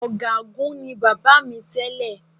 Ọ̀gágun ni bàbá mi tẹ́lẹ̀